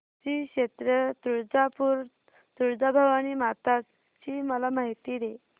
श्री क्षेत्र तुळजापूर तुळजाभवानी माता ची मला माहिती दे